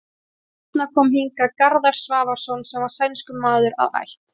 Seinna kom hingað Garðar Svavarsson sem var sænskur maður að ætt.